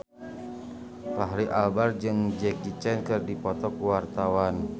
Fachri Albar jeung Jackie Chan keur dipoto ku wartawan